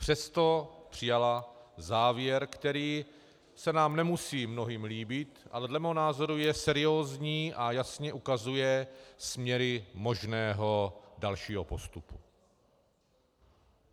Přesto přijala závěr, který se nám nemusí mnohým líbit, ale dle mého názoru je seriózní a jasně ukazuje směry možného dalšího postupu.